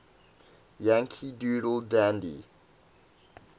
yankee doodle dandy